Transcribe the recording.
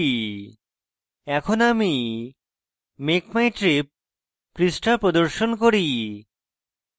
এখন আমি make my trip পৃষ্ঠা প্রদর্শন করি